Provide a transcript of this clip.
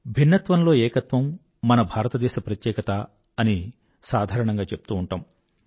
భిన్నత్వంలో ఏకత్వం మన భారతదేశ ప్రత్యేకత అని సాధారణంగా చెప్తూ ఉంటాము